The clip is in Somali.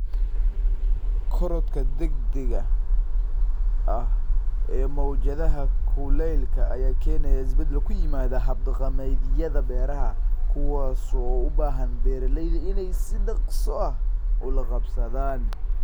Korodhka degdega ah ee mowjadaha kulaylka ayaa keenaya isbeddel ku yimaada hab-dhaqameedyada beeraha, kuwaas oo u baahan beeralayda inay si dhakhso ah ula qabsadaan.